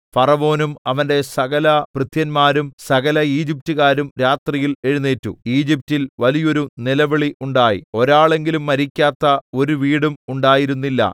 ഫറവോനും അവന്റെ സകലഭൃത്യന്മാരും സകലഈജിപ്റ്റുകാരും രാത്രിയിൽ എഴുന്നേറ്റു ഈജിപ്റ്റിൽ വലിയൊരു നിലവിളി ഉണ്ടായി ഒരാളെങ്കിലും മരിക്കാത്ത ഒരു വീടും ഉണ്ടായിരുന്നില്ല